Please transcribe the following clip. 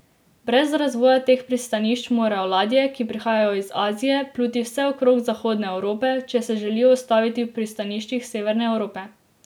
Brez razvoja teh pristanišč morajo ladje, ki prihajajo iz Azije, pluti vse okrog Zahodne Evrope, če se želijo ustaviti v pristaniščih severne Evrope.